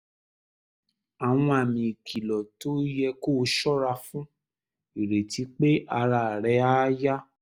àwọn àmì ìkìlọ̀ tó yẹ kó o ṣọ́ra fún: ìrètí pé ara rẹ̀ á yá